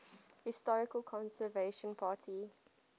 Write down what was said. historical conservative party